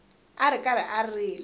a ri karhi a rila